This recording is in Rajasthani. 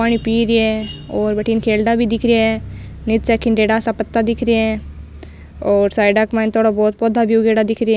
पानी पी रे है और वठिन खेलड़ा भी दिख रेहा है नीचे खिड़ेरा सा पत्ता दिख रेहा है और साइडा के माइन थोड़ा बहोत पौधा भी उगेडा दिख रिया है।